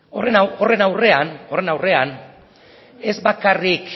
horren aurrean ez bakarrik